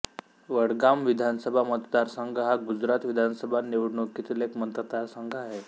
वडगाम विधानसभा मतदारसंघ हा गुजरात विधानसभा निवडणुकीतील एक मतदारसंघ आहे